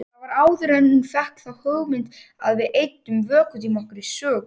Það var áður en hún fékk þá hugmynd að við eyddum vökutíma okkar í sögu.